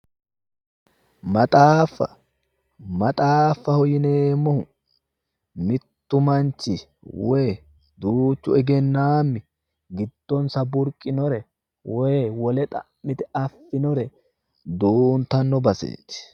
Maxaaffa. maxaaffaho yineemmohu muttu manchi woyi duuchu egennaammi guddonsa burqinore woti wole xa'mite affinore duuntanno baseeti